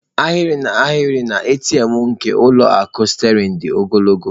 Ahịrị n'ahịrị na ATM nke ụlọ akụ Sterling dị ogologo.